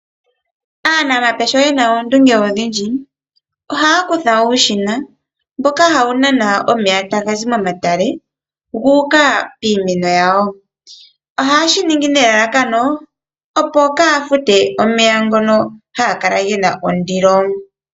Aanamapya sho yena oondunge odhindji ohaya kutha uushina mboka hawu nana omeya tagazi momatale gu uka piimeno yawo ,shino oha ye shiningi nelalakano opo kaya fute omeya ngono haga kala gena ondilo.